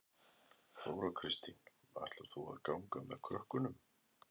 Þóra Kristín: Ætlar þú að ganga með krökkunum?